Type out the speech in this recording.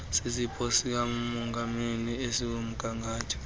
sisipho sikamadondile esikumgangatho